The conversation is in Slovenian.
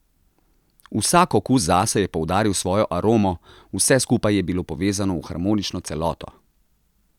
Vsak okus zase je poudaril svojo aromo, vse skupaj je bilo povezano v harmonično celoto.